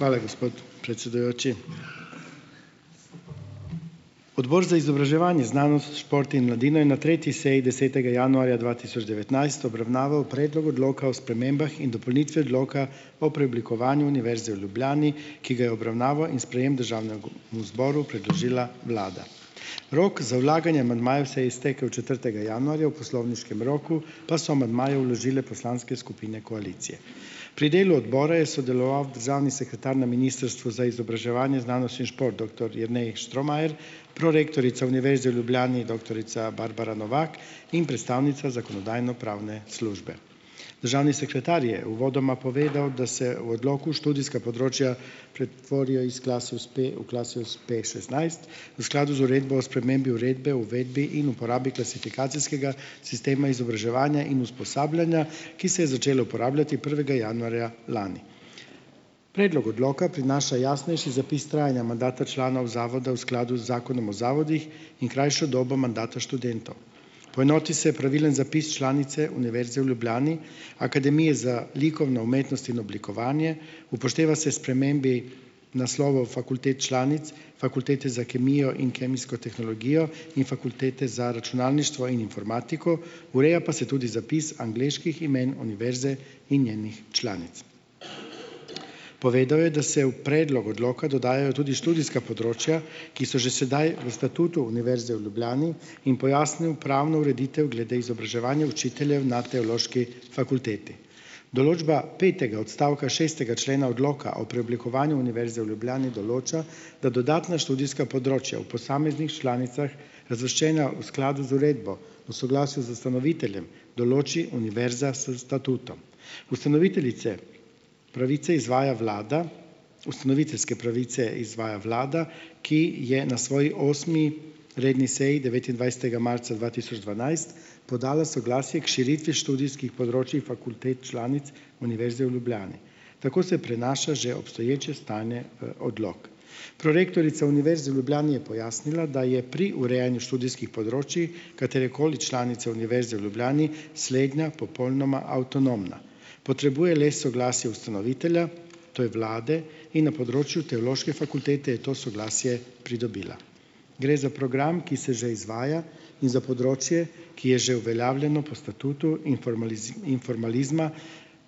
Hvala, gospod predsedujoči. Odbor za izobraževanje, znanost, šport in mladino je na tretji seji, desetega januarja dva tisoč devetnajst obravnaval predlog odloka o spremembah in dopolnitvi odloka o preoblikovanju Univerze v Ljubljani, ki ga je v obravnavo in sprejem zboru predložila vlada. Rok za vlaganje amandmajev se je iztekel četrtega januarja, v poslovniškem roku pa so amandmaje vložile poslanske skupine koalicije. Pri delu odbora je sodeloval državni sekretar na ministrstvu za izobraževanje, znanost in šport, doktor Jernej Štromajer, prorektorica Univerze v Ljubljani, doktorica Barbara Novak in predstavnica zakonodajno-pravne službe. Državni sekretar je uvodoma povedal, da se v odloku študijska področja pretvorijo iz Klasius P v Klasius P šestnajst, v skladu z uredbo o spremembi uredbe o uvedbi in uporabi klasifikacijskega sistema izobraževanja in usposabljanja, ki se je začela uporabljati prvega januarja lani. Predlog odloka prinaša jasnejši zapis trajanja mandata članov zavodov v skladu z zakonom o zavodih in krajšo dobo mandata študentov. Poenoti se pravilen zapis članice Univerze v Ljubljani, Akademije za likovno umetnost in oblikovanje, upošteva se spremembi naslovov fakultet članic, Fakultete za kemijo in kemijsko tehnologijo in Fakultete za računalništvo in informatiko, ureja pa se tudi zapis angleških imen univerze in njenih članic. Povedal je, da se v predlog odloka dodajo tudi študijska področja, ki so že sedaj v statutu Univerze v Ljubljani, in pojasnil pravno ureditev glede izobraževanja učiteljev na teološki fakulteti. Določba petega odstavka šestega člena odloka o preoblikovanju Univerze v Ljubljani določa, da dodatna študijska področja v posameznih članicah, razvrščena v skladu z uredbo, v soglasju z ustanoviteljem določi univerza s statutom. Ustanoviteljice pravice izvaja vlada, ustanoviteljske pravice izvaja vlada, ki je na svoji osmi redni seji, devetindvajsetega marca dva tisoč dvanajst, podala soglasje k širitvi študijskih področij fakultet članic Univerze v Ljubljani. Tako se prenaša že obstoječe stanje, odlok. Prorektorica Univerze v Ljubljani je pojasnila, da je pri urejanju študijskih področij katerekoli članice Univerze v Ljubljani slednja popolnoma avtonomna. Potrebuje le soglasje ustanovitelja, to je vlade, in na področju teološke fakultete je to soglasje pridobila. Gre za program, ki se že izvaja, in za področje, ki je že uveljavljeno po statutu in in formalizma,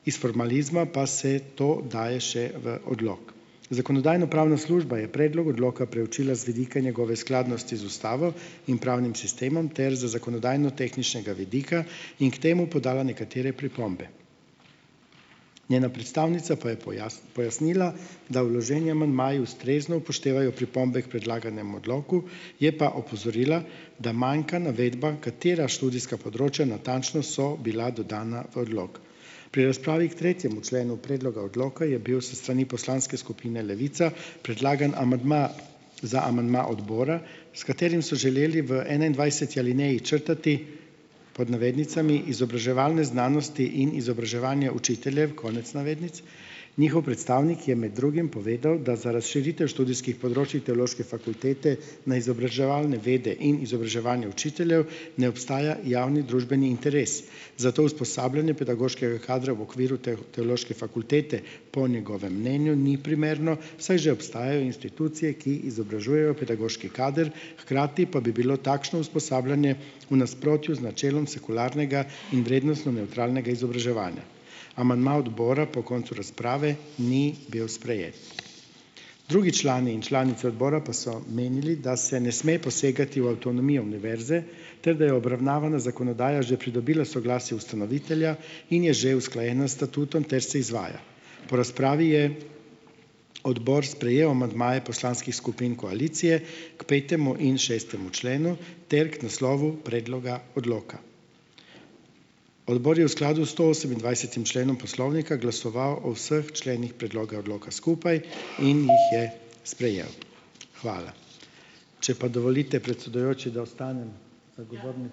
iz formalizma pa se to daje še v odlok. Zakonodajno-pravna služba je predlog odloka preučila z vidika njegove skladnosti z ustavo in pravnim sistemom ter z zakonodajnotehničnega vidika in k temu podala nekatere pripombe. Njena predstavnica pa je pojasnila, da vloženi amandmaji ustrezno upoštevajo pripombe k predlaganemu odloku. Je pa opozorila, da manjka navedba, katera študijska področja natančno so bila dodana v odlok. Pri razpravi k tretjemu členu predloga odloka je bil s strani poslanske skupine Levica predlagan amadma za amandma odbora, s katerim so želeli v enaindvajseti alineji črtati, pod navednicami, "izobraževalne znanosti in izobraževanje učiteljev", konec navednic, njihov predstavnik je med drugim povedal, da za razširitev študijskih področij teološke fakultete na izobraževalne vede in izobraževanje učiteljev ne obstaja javni družbeni interes. Zato usposabljanje pedagoškega kadra v okviru teološke fakultete po njegovem mnenju ni primerno, saj že obstajajo institucije, ki izobražujejo pedagoški kader, hkrati pa bi bilo takšno usposabljanje v nasprotju z načelom sekularnega in vrednostno nevtralnega izobraževanja. Amandma odbora po koncu razprave ni bil Drugi člani in članice odbora pa so menili, da se ne sme posegati v avtonomijo univerze, ter da je obravnavana zakonodaja že pridobila soglasje ustanovitelja in je že usklajena s statutom ter se izvaja. Po razpravi je odbor sprejel amandmaje poslanskih skupin koalicije k petemu in šestemu členu ter k naslovu predloga odloka. Odbor je v skladu s stoosemindvajsetim členom poslovnika glasoval o vseh členih predloga odloka skupaj in jih je sprejel. Hvala. Če pa dovolite, predsedujoči, da ostanem ...